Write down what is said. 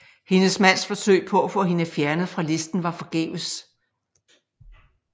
Hendes mands forsøg på at få hende fjernet fra listen var forgæves